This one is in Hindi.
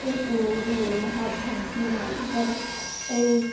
इस इमेज में यहाँ भव्य मंदिर है।